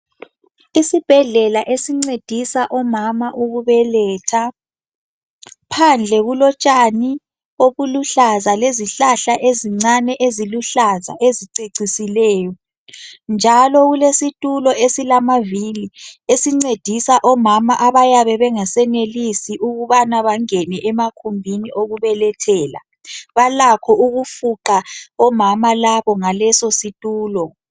Isibhedlela esincedisa omama ukubeletha. Phandle kulotshani obuluhlaza lezihlahla ezincane eziluhlaza ezicecisileyo, njalo kulesitulo esilamavili esincedisa omama abayabe bengasenelisi ukubana bangene emagumbini okubelethela. Balakho ukufuqa omama labo ngaleso situlo.